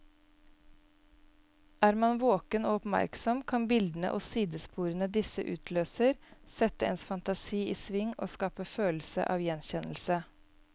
Er man våken og oppmerksom, kan bildene og sidesporene disse utløser, sette ens fantasi i sving og skape følelse av gjenkjennelse.